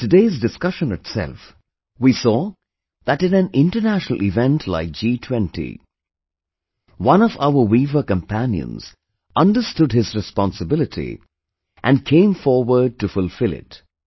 In today's discussion itself, we saw that in an international event like G20, one of our weaver companions understood his responsibility and came forward to fulfil it